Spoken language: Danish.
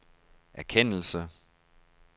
erkendelse